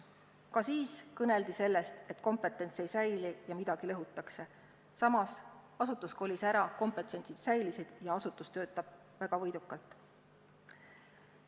Ka siis kõneldi sellest, et kompetents ei säili ja midagi lõhutakse, samas asutus kolis ära, kompetents säilis ja asutus töötab väga võidukalt.